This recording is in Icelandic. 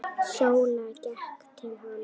Sóla gekk til hans.